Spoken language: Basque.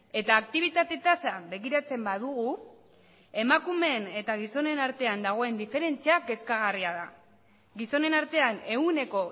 eta aktibitate tasa begiratzen badugu emakumeen eta gizonen artean dagoen diferentzia kezkagarria da gizonen artean ehuneko